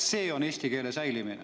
See on eesti keele säilimine.